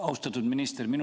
Austatud minister!